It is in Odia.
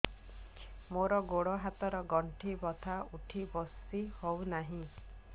ମୋର ଗୋଡ଼ ହାତ ର ଗଣ୍ଠି ବଥା ଉଠି ବସି ହେଉନାହିଁ